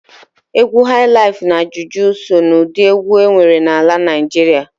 Egwu hailaif na juju so na udi egwu enwere n'ala Naijịrịa.